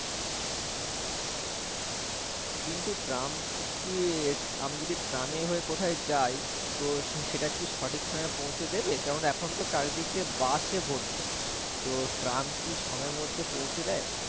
কিন্তু ট্রাম আমি যদি ট্রামে হয়ে কোথায় যাই তো সেটা কি সঠিক সময় পৌঁছে দেবে? কেন না এখন চারি দিকে বাসে ভর্তি তো ট্রাম কি সময়ের মধ্যে পৌঁছে দেয়?